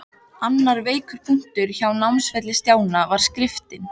Annar veikur punktur á námsferli Stjána var skriftin.